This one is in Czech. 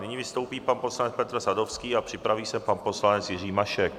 Nyní vystoupí pan poslanec Petr Sadovský a připraví se pan poslanec Jiří Mašek.